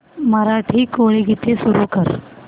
मराठी कोळी गीते सुरू कर